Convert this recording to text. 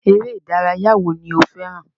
Eré ìdárayá wo ni o fẹràn?